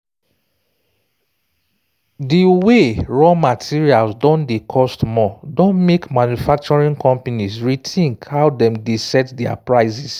di way raw materials don dey cost more don make manufacturing companies rethink how dem dey set their prices